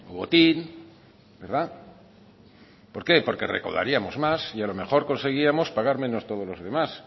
botín verdad por qué porque recaudaríamos más y a lo mejor conseguiríamos pagar menos todos los demás